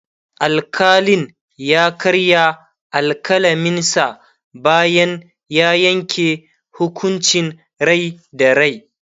alkalin ya karya alkalaminsa bayan ya Yanke hukuncin Rai da rai